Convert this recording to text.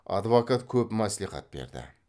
адвокат көп мәслихат берді